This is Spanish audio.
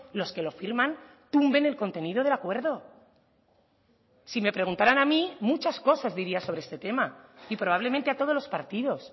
los que lo firman tumben el contenido del acuerdo si me preguntaran a mí muchas cosas diría sobre este tema y probablemente a todos los partidos